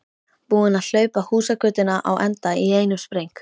Búinn að hlaupa húsagötuna á enda í einum spreng.